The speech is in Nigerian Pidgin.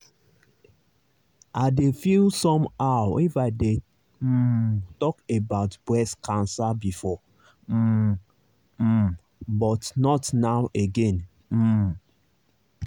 i dey feel somehow if i dey um talk about breast cancer before um um but not now again. um